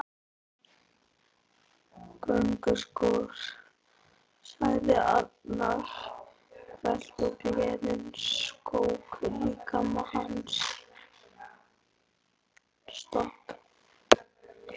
Gönguskór! sagði Arnar hvellt og gleðin skók líkama hans.